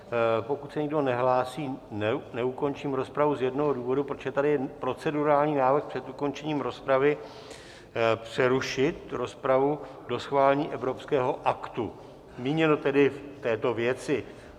Pokud se nikdo nehlásí, neukončím rozpravu z jednoho důvodu, protože tady je procedurální návrh před ukončením rozpravy přerušit rozpravu do schválení evropského aktu, míněno tedy v této věci.